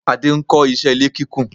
Adé ń kó iṣé ilé kíkún.